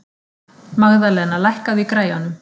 Magðalena, lækkaðu í græjunum.